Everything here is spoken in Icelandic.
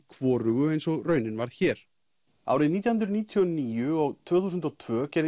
hvorugu eins og raunin varð hér árin nítján hundruð níutíu og níu og tvö þúsund og tvö gerðu